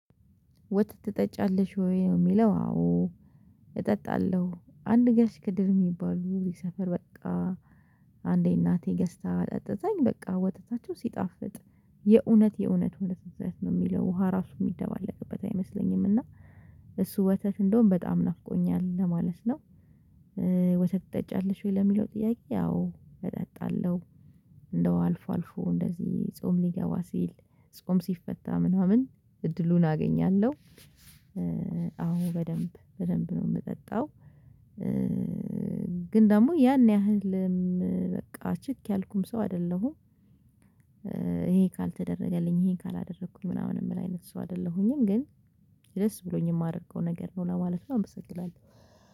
ወጥ ትጠጫለሽ ወይ ነው የሚለው? አዎ። እጠጣለሁ አንድ ጋሽ ከድር የሚባሉ ሰፈር በቃ አንዴ እናቴ ገዝታ አጠጥታኝ በቃ ወጥነቱ ሲጣፍጥ። የእውነት የእውነት ወተት ወት ነው የሚለው ውሃ ራሱ የሚደባለቅበት አይመስለኝም። እና እሱ ወተት እንደውም በጣም ናፍቆኛል ለማለት ነው። ወተት ትጠጫለሽ ወይ ለሚለው ጥያቄ? አዎ እጠጣለሁ። እንደው አልፎ አልፎ እንደዚህ ጾም ሊገባ ሲል ጾም ሲፈታ ምናምን እድሉን አገኛለሁ። አሁን በደንብ በደንብ ነው የምጠጣው። ግን ደግሞ ያን ያህልም በቃ ችክ ያልኩም ሰው አይደለሁም። ይሄ ካልተደረገልኝ ይሄን ካላደረኩኝ ምናምን የምል አይነት ሰው አይደለሁኝም። ግን ደስ ብሎኝ የማደርገው ነገር ነው ለማለት ነው። አመሰግናለሁ